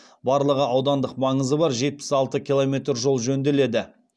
барлығы аудандық маңызы бар жетпіс алты километр жол жөнделеді